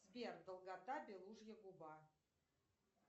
сбер долгота белужья губа